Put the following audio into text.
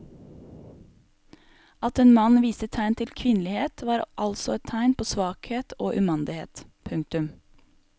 At en mann viste tegn til kvinnelighet var altså et tegn på svakhet og umandighet. punktum